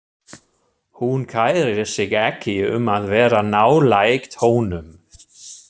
Hún kærir sig ekki um að vera nálægt honum.